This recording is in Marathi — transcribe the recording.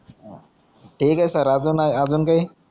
थिक आहे अजून नाही अजून काई